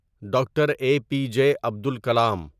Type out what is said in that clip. doctor A P J Abdul کلام